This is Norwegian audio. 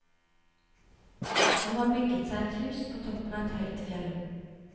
Han har bygget seg et hus på toppen av et høyt fjell.